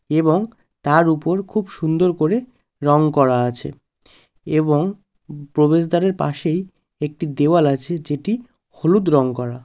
এবং তার উপর খুব সুন্দর করে রং করা আছে এবং প্রবেশদ্বারের পাশেই একটি দেওয়াল আছে যেটি হলুদ রং করা।